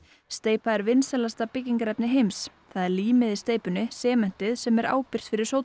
steypa er vinsælasta byggingarefni heims það er límið í steypunni sementið sem er ábyrgt fyrir